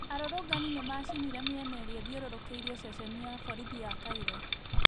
Arũrũngani nĩmacinire mĩena irĩa ithiũrũrũkĩirie ceceni ya borithi ya Cairo